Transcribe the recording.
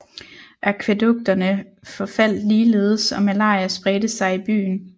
Akvædukterne forfaldt ligeledes og malaria spredte sig i byen